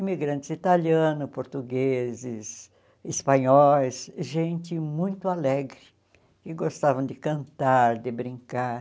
Imigrantes italianos, portugueses, espanhóis, gente muito alegre, que gostavam de cantar, de brincar.